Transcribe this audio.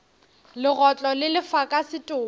legotlo le lefa ka setopo